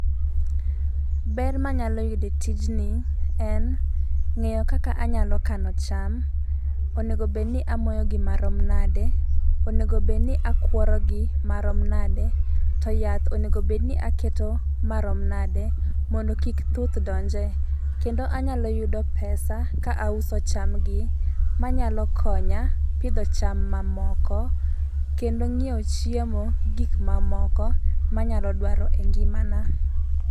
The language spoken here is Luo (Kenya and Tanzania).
Ber manyalo yude tijni en ng'eyo kaka anyalo kano cham, onego bed ni amoyo gi marom nade? onego bed ni akworo gi marom nade?, to yath onego bed ni aketo marom nade? mondo kik thuth donje. Kendo anyalo yudo pesa ka auso cham gi manyalo konya pidho cham mamoko kendo nyiewo chiemo gi gik mamoko manyalo dwaro e ngima na.